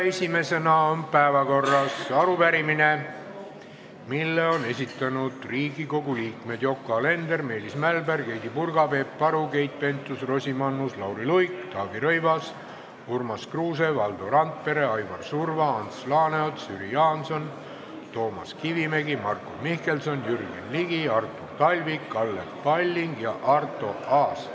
Esimesena on päevakorras arupärimine, mille on esitanud Riigikogu liikmed Yoko Alender, Meelis Mälberg, Heidy Purga, Peep Aru, Keit Pentus-Rosimannus, Lauri Luik, Taavi Rõivas, Urmas Kruuse, Valdo Randpere, Aivar Surva, Ants Laaneots, Jüri Jaanson, Toomas Kivimägi, Marko Mihkelson, Jürgen Ligi, Artur Talvik, Kalle Palling ja Arto Aas.